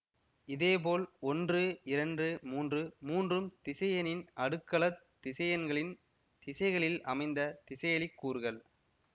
இதேபோல் ஒன்று இரண்டு மூன்று மூன்றும் திசையனின் அடுக்களத் திசையன்களின் திசைகளில் அமைந்த திசையலிக் கூறுகள்